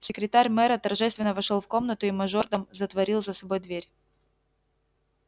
секретарь мэра торжественно вошёл в комнату и мажордом затворил за собой дверь